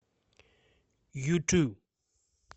юту